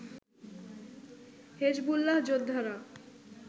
Hezbollah যোদ্ধারা